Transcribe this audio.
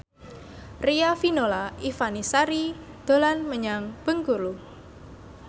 Riafinola Ifani Sari dolan menyang Bengkulu